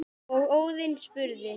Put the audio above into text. og Óðinn spurði